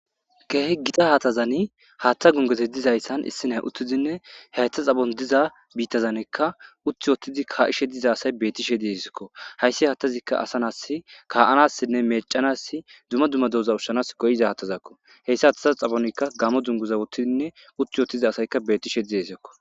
kehe gita hatazani haattha gungeze dizayssan issinay uttizinne haytha xabon diza biittazanekka utt wotidi kaa7ishe diza asay bettishe diisekko hayssi haattazikka asanas kaa7anassinne mecanass duma dumma dooza ushshanas goyiza hattazakko heyssa hataza xabonikka gamo dunguza wottidinne utti wottiza asayka beti she dieisekko